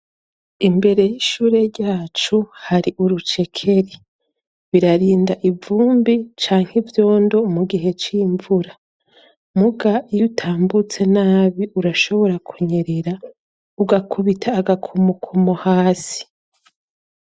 Imbere yishure ryacu hari urucekeri birarinda ivumbi canke ivyondo mu gihe c'imvura muga iyo utambutse nabi urashobora kunyerera ugakubita agakomokomo hasi.